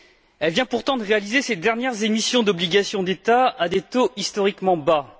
Elle vient pourtant de réaliser ses dernières émissions d'obligations d'État à des taux historiquement bas.